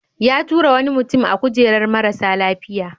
Ya tura wani mutum a kujerar marasa lafiya.